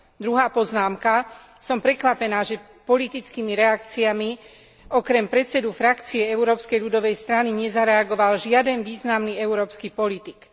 Druhá poznámka som prekvapená, že na politickej úrovni, okrem predsedu frakcie Európskej ľudovej strany, nezareagoval žiaden významný európsky politik.